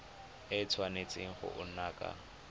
a tshwanetse go nna ka